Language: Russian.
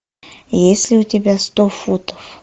есть ли у тебя сто футов